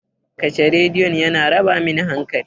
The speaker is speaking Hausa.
Kashe Rediyon! yana raba min hankali.